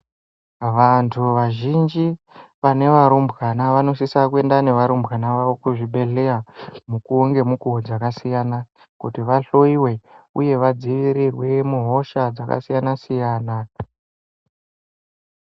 Vantu vazhinji vane varumbwana vanosisa kuenda nevarumbwana vavo kuzvibhedhleya mukuwo ngemukuwo dzakasiyana kuti vahloyiwe uye vadzivirirwe muhosha dzakasiyana siyana.